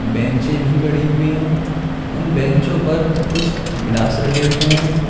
बेंचे भी पड़ी हुई है उन बेंचो पर कुछ गिलास रखे हुए हैं।